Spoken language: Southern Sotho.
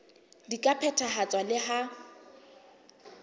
di ka phethahatswa le ha